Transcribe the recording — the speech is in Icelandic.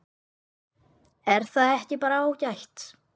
Er það ekki bara ágætt?